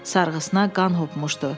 Sarğısına qan hopmuşdu.